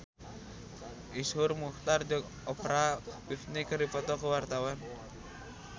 Iszur Muchtar jeung Oprah Winfrey keur dipoto ku wartawan